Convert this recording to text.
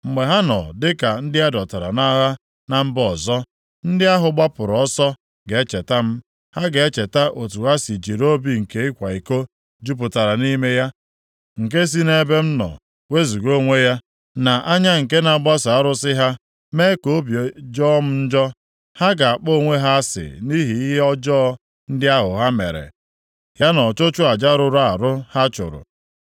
Mgbe ha nọ dịka ndị a dọtara nʼagha na mba ọzọ, ndị ahụ gbapụrụ ọsọ ga-echeta m. Ha ga-echeta otu ha si jiri obi nke ịkwa iko jupụtara nʼime ya, nke si nʼebe m nọ wezuga onwe ya, na anya nke na-agbaso arụsị ha, mee ka obi jọọ m njọ. Ha ga-akpọ onwe ha asị nʼihi ihe ọjọọ ndị ahụ ha mere, ya na ọchụchụ aja rụrụ arụ ha chụrụ.